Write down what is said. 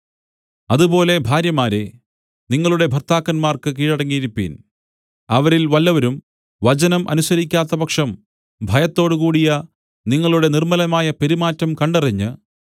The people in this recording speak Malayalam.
അതുപോലെ ഭാര്യമാരേ നിങ്ങളുടെ ഭർത്താക്കന്മാർക്ക് കീഴടങ്ങിയിരിപ്പിൻ അവരിൽ വല്ലവരും വചനം അനുസരിക്കാത്തപക്ഷം ഭയത്തോടുകൂടിയ നിങ്ങളുടെ നിർമ്മലമായ പെരുമാറ്റം കണ്ടറിഞ്ഞ്